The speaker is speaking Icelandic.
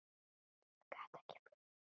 Ég gat ekki flúið neitt.